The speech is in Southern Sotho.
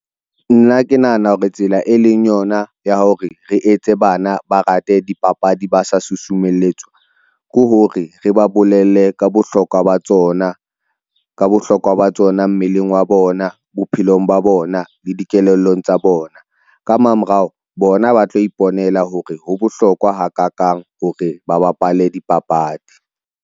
Nna ke nahana hore tsela e leng yona ya hore re etse bana, ba rate dipapadi ba sa susumeletswa. Ke hore re ba bolelle ka bohlokwa ba tsona, ka bohlokwa ba tsona mmeleng wa bona, bophelong ba bona le dikelellong tsa bona. Ka mamorao bona ba tla iponela hore ho bohlokwa ha kakang hore ba bapale dipapadi.